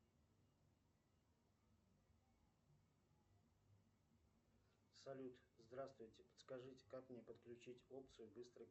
салют здравствуйте подскажите как мне подключить опцию быстрый